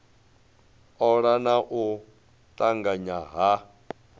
ola na u tanganya ha